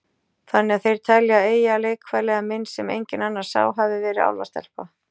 Þannig að þeir telja að Eyja, leikfélagi minn sem enginn annar sá, hafi verið álfastelpa?